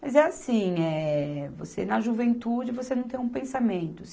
Mas é assim, eh, você na juventude você não tem um pensamento.